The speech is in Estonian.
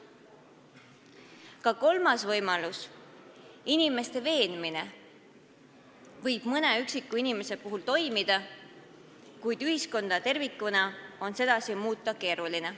Ka kolmas võimalus, inimeste veenmine, võib mõne üksiku inimese puhul toimida, kuid ühiskonda tervikuna on sedasi muuta keeruline.